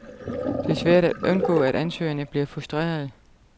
Det er svært at undgå, at ansøgerne bliver frustrerede.